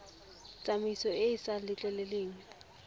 tsamaiso e e sa letleleleng